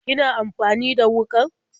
Kina amfani da wuƙar?